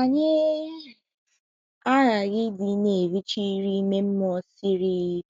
Anyị um aghaghị ịdị na - erichi nri ime mmụọ siri um